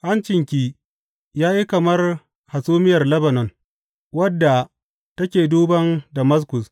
Hancinki ya yi kamar hasumiyar Lebanon wadda take duban Damaskus.